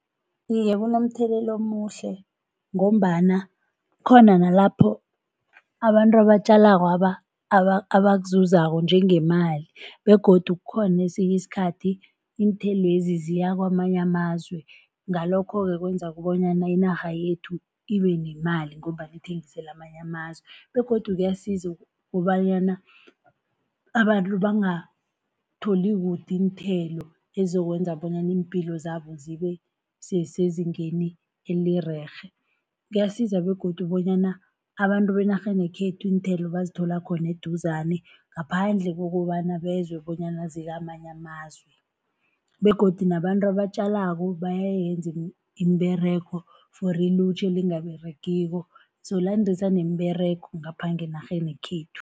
Iye kunomthelela omuhle, ngombana kukhona nalapho abantu abatjalakwaba abakuzuzako njengemali, begodu kukhona esinye iskhathi iinthelwezi ziya kamanye amazwe. Ngalokho-ke kwenza kobanyana inarha yethu ibe nemali, ngombana ithengisela amanye amazwe, begodu kuyasiza kobanyana abantu bangatholi kude iinthelo, ezizokwenza bonyana iimpilo zabo zibe sezingeni elirerhe. Kuyasiza begodu bonyana abantu benarheni yekhethu iinthelo bazithola khone eduzane ngaphandle kokobana bezwe bonyana zikamanye amazwe, begodu nabantu abatjalako bayayenza iimberego for ilutjha elingaberegiko, so landisa nemiberego ngapha ngenarheni yekhethu.